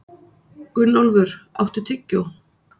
Gunnólfur, áttu tyggjó?